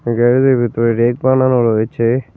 গ্যারেজের ভেতরে রেক বানানো রয়েছে।